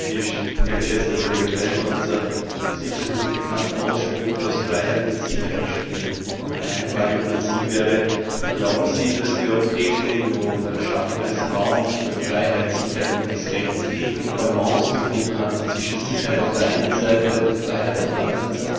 Herr geschätzter Kollege Weidenholzer! Es gibt ja diesen bekannten Ausspruch, dass Freiheit mit Sicherheit stirbt. Und meine Frage nun an Sie wäre Glauben Sie, dass die Europäische Union bei der Schaffung eines Raums der Freiheit, der Sicherheit und des Rechts die richtige Balance gefunden hat zwischen Sicherheit auf der einen Seite und Freiheit auf der anderen Seite?